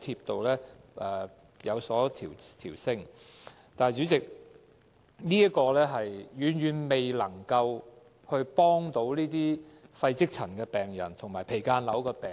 但是，這個調升遠遠未能幫助肺積塵病人和間皮瘤病人。